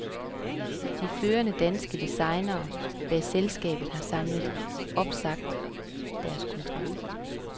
De førende danske designere bag selskabet har samlet opsagt deres kontrakt.